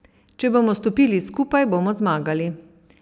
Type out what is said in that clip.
Če bomo stopili skupaj, bomo zmagali.